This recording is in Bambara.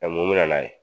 mun bɛ na n'a ye